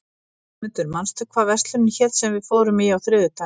Guðmundur, manstu hvað verslunin hét sem við fórum í á þriðjudaginn?